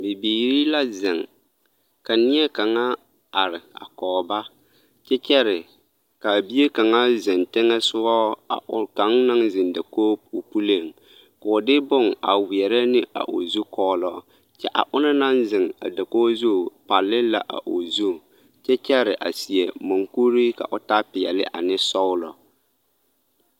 Bibiiri la zeŋ ka neɛ kaŋa are a kɔge ba kyɛ kyɛre ka a bie kaŋa zeŋ teŋɛ soga a are kɔge kaŋ meŋ naŋ zeŋ dakogi puliŋ ka o de bonne a weɛrɛ ne a o zukɔɔlɔ kyɛ a o naŋ zeŋ a dakogi zu palle la o zu kyɛ kyɛre a seɛ maŋkuri ka o taa peɛlle ane sɔglɔ.